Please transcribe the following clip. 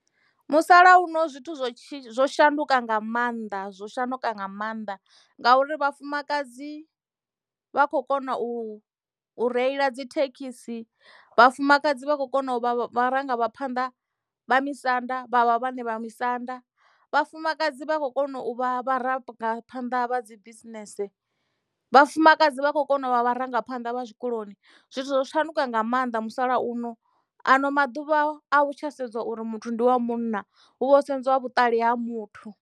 Musalauno zwithu zwo shanduka nga maanḓa zwo shanduka nga mannḓa ngauri vhafumakadzi vha kho kona u reila dzi thekhisi vhafumakadzi vha khou kona uvha vharangaphanḓa vha misanda vhavha vhaṋe vha misanda vhafumakadzi vha khou kona u vha vharangaphanḓa vha dzi bisinese vhafumakadzi vha khou kona u vha vharangaphanḓa vha zwikoloni zwithu zwo tshanduka nga maanḓa musalauno ano maḓuvha a vhu tsha sedza uri muthu ndi wa munna hu vha ho sedzwa vhuṱali ha muthu.